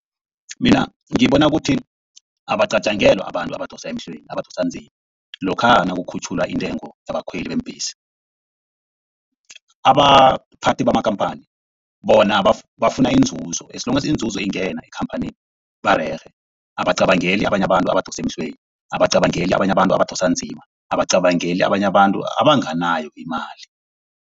Mina ngibona ukuthi abacatjengelwa abantu abadosa emhlweni, abadosa nzima. Lokha nakukhutjhulwa intengo yabakhweli beembhesi. Abaphathi bamakhamphani bona bafuna inzuzo. As long as inzuzo ingena ekhamphanini barerhe. Abacabangeli abanye abantu abadosa emhlweni. Abacabangeli abanye abantu abadosa nzima. Abacabangeli abanye abantu abanganayo imali.